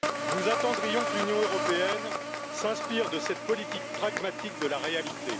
Nous attendrions que l'Union européenne s'inspire de cette politique pragmatique de la réalité.